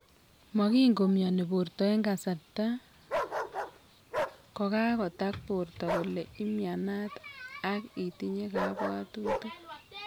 Mongin komioni porto en kasarta kogagotag porto kole imianat ag itinye kapwatutik